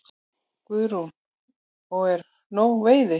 Guðrún: Og er nóg veiði?